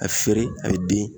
A feere a be den